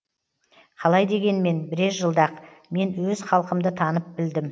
қалай дегенмен бірер жылда ақ мен өз халқымды танып білдім